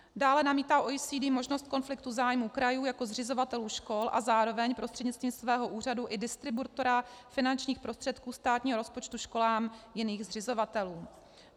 Dále namítá OECD možnost konfliktu zájmu krajů jako zřizovatelů škol a zároveň prostřednictvím svého úřadu i distributora finančních prostředků státního rozpočtu školám jiných zřizovatelů.